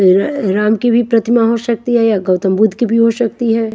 राम की भी प्रतिमा हो सकती है गौतम बुद्ध की भी हो सकती है।